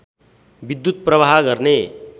विद्युत् प्रवाह गर्ने